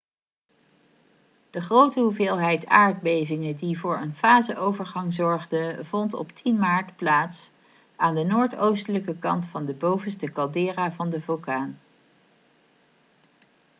de grote hoeveelheid aardbevingen die voor een faseovergang zorgden vond op 10 maart plaats aan de noordoostelijke kant van de bovenste caldera van de vulkaan